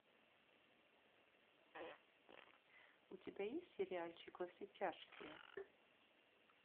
у тебя есть сериальчик во все тяжкие